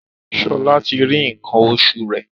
Shola tí rí nkan oṣù rẹ.